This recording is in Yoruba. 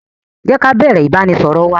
Jé ká bẹ̀rẹ̀ ìbánisọọ̀rọ̀ wa!